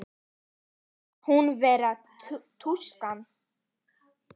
Finnst hún vera tuska.